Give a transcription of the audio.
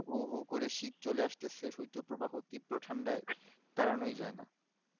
হু হু করে শীত চলে আসতেছে শীত ও প্রভাব ও ত্রিব্র ঠান্ডায় দাঁড়ানো যাই না